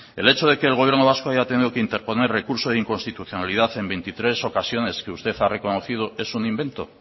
el hecho de que el gobierno vasco haya ha tenido que interponer recurso de inconstitucionalidad en veintitrés ocasiones que usted ha reconocido es un invento